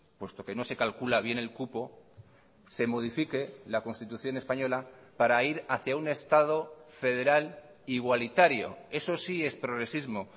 puesto que no se calcula bien el cupo se modifique la constitución española para ir hacia un estado federal igualitario eso sí es progresismo